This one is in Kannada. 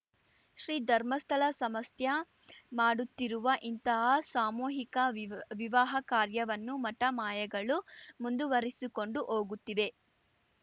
ಶ್ರೀ ಧರ್ಮಸ್ಥಳ ಸಮಸ್ತ್ಯಾ ಮಾಡುತ್ತಿರುವ ಇಂತಹ ಸಾಮೂಹಿಕ ವಿವಿವಾಹ ಕಾರ್ಯವನ್ನು ಮಠಮಾಯಗಳು ಮುಂದುವರಿಸಿಕೊಂಡು ಹೋಗುತ್ತಿವೆ